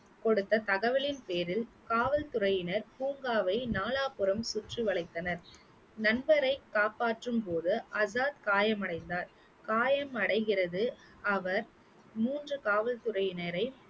கொடுத்த தகவலின் பேரில் காவல்துறையினர் பூங்காவை நாலாபுரம் சுற்றி வளைத்தனர் நண்பரைக் காப்பாற்றும் போது ஆசாத் காயமடைந்தார் காயம் அடைகிறது அவர் மூன்று காவல்துறையினரை